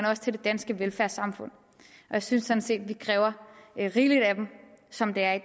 også til det danske velfærdssamfund og jeg synes sådan set at vi kræver rigeligt af dem som det er i